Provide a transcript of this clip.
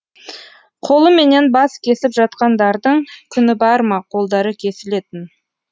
қолыменен бас кесіп жатқандардың күні бар ма қолдары кесілетін